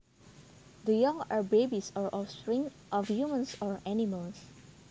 The young are babies or offspring of humans or animals